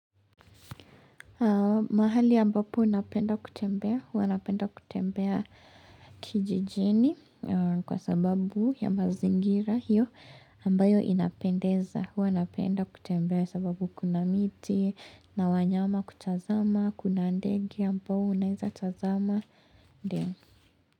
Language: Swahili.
Mahali ambapo napenda kutembea, hua napenda kutembea kijijini kwa sababu ya mazingira hiyo ambayo inapendeza, hua napenda kutembea sababu kuna miti, na wanyama kutazama, kuna ndege ambao unaeza tazama.